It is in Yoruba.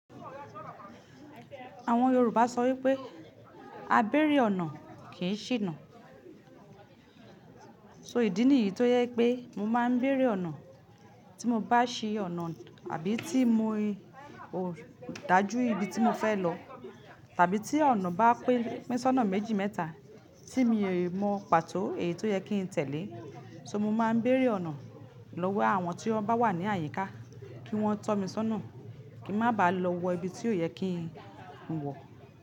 Àwọn Yorùbá sọ wípé "A béèrè ọ̀nà kì í ṣìnà". So ìdí nìyí tó jẹ pé mo máa ń béèrè ọ̀nà tí mo bá ṣí ọ̀nà àbí tí mo dájú ibi tí mo fẹ́ lọ tàbí tí ọ̀nà bá pín pin sọ́nà méjì mẹ́ta tí mi ò mọ pàtó èyí tó yẹ kí n tẹ̀lé. So mo máa ń béèrè ọ̀nà lọ́wọ́ àwọn tí wọ́n bá wà ní àyíká kí wọ́n tọ́ mi sọ́nà kí ń má ba à lọ wọ ibi tí ò yẹ kí n wọ.